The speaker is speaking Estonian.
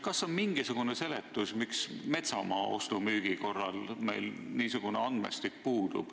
Kas on mingisugune seletus, miks meil puudub niisugune andmestik metsamaa ostu-müügitehingute kohta?